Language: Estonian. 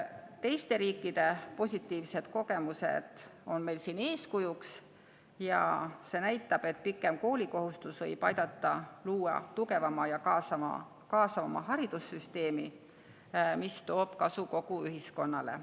Teiste riikide positiivsed kogemused on meile siin eeskujuks ja need näitavad, et pikem koolikohustus võib aidata luua tugevama ja kaasavama haridussüsteemi, mis toob kasu kogu ühiskonnale.